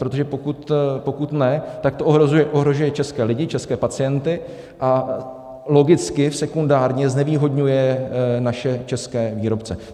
Protože pokud ne, tak to ohrožuje české lidi, české pacienty a logicky sekundárně znevýhodňuje naše české výrobce.